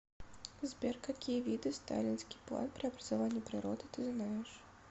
сбер какие виды сталинский план преобразования природы ты знаешь